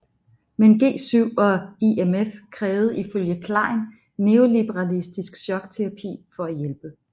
Men G7 og IMF krævede ifølge Klein neoliberalistisk chokterapi for at hjælpe